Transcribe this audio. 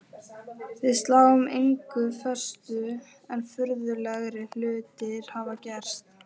Við sláum engu föstu en furðulegri hlutir hafa gerst.